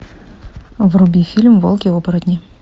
вруби фильм волки оборотни